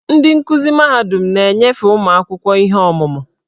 Ndị nkuzi mahadum na-enyefe ụmụ akwụkwọ ihe ọmụma.